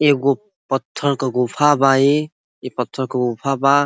येगो पत्थर का गुफा बा ई। ई पत्थर का गुफा बा।